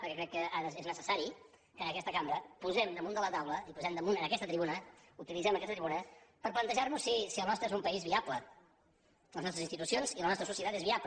perquè crec que ara és necessari que en aquesta cambra posem damunt de la taula i utilitzem aquesta tribuna per plantejar nos si el nostre és un país viable si les nostres institucions i la nostra societat són viables